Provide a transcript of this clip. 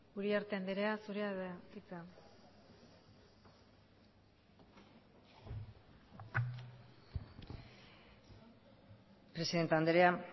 uriarte andrea zurea da hitza presidente andrea